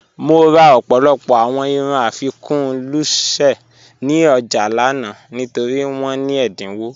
Mo rà ọ̀pọ̀lọpọ̀ awọn irùn afíkun lúṣẹ̀ ní ọjà lànà nítorí wọn ní ẹdínwọ̀.